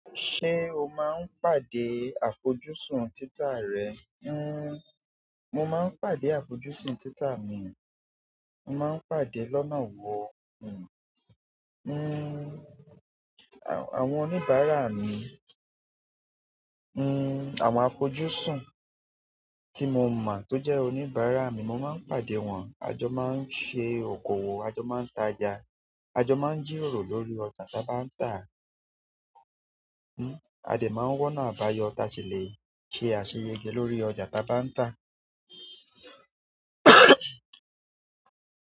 Ṣé o máa ń pàdé àfojúsùn títà rẹ? Mo máa ń pàdá àfojúsùn títà mi. Mo máa ń pàdé lọ́nà wo? Àwọn oníbàárà mi, àwọn àfojúsùn tí mo mọ̀ tó jẹ́ oníbàárà mi, mo máa ń pàdé wọn. A jọ máa ń ṣe okòwò, a jọ máa ń taja, a jọ máa ń jíròrò lórí ọjà ta bá ń tà. A dè máa ń wọ́nà abáyọ̀ tá ṣilé ṣe àṣeyẹgẹ lórí ọjà ta bá ń tà.